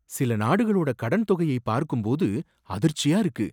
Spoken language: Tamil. சில நாடுகளோட கடன் தொகையை பார்க்கும் போது அதிர்ச்சியா இருக்கு.